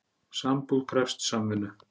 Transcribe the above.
Sambúð krefst samvinnu.